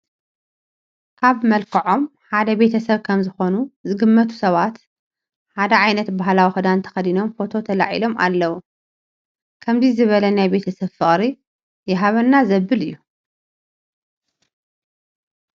ካብ መልክዖም ሓደ ቤተ ሰብ ከምዝኾኑ ዝግመቱ ሰባት ሓደ ዓይነት ባህላዊ ክዳን ተኸዲኖም ፎቶ ተላዒሎም ኣለዉ፡፡ ከምዚ ዝበለ ናይ ቤተ ሰብ ፍቕሪ ይሃበና ዘብል እዩ፡፡